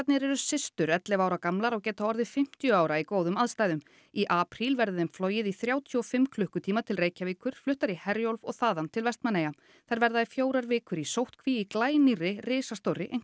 eru systur ellefu ára gamlar og geta orðið fimmtíu ára í góðum aðstæðum í apríl verður þeim flogið í þrjátíu og fimm klukkutíma til Reykjavíkur fluttar í Herjólf og þaðan til Vestmannaeyja þær verða í fjórar vikur í sóttkví í glænýrri risastórri